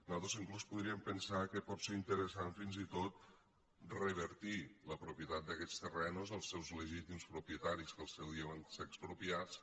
nosaltres inclús podríem pensar que pot ser interessant fins i tot revertir la propietat d’aquests terrenys als seus legítims propietaris que al seu dia van ser expropiats